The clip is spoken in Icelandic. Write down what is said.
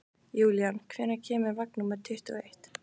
Júlían, hvenær kemur vagn númer tuttugu og eitt?